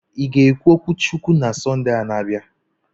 Ị ga-ekwu okwu Chukwu na Sọnde na-abịa?